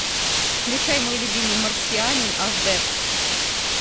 включай мой любимый марсианин аш д